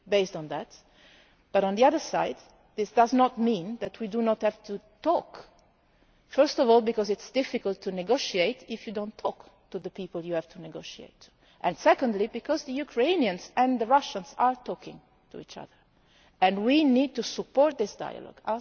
On the other hand, it does not mean that we do not have to talk first of all because it is difficult to negotiate if you do not talk to the people you have to negotiate with, and secondly because the Ukrainians and the Russians are talking to each other, and we need to support that dialogue.